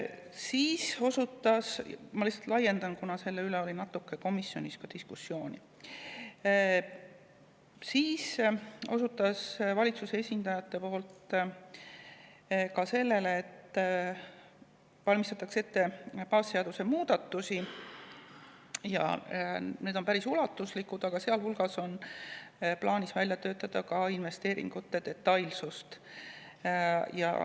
Siis osutas – ma lihtsalt laiendan, kuna selle üle oli komisjonis natuke diskussiooni – valitsuse esindaja ka sellele, et valmistatakse ette baasseaduse muudatusi ja need on päris ulatuslikud, sealhulgas on plaanis välja töötada investeeringute detailsus.